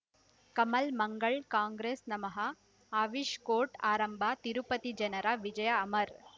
Kamal Mangal Congress ನಮಃ ಅವಿಷ್ court ಆರಂಭ ತಿರುಪತಿ ಜನರ ವಿಜಯ ಅಮರ್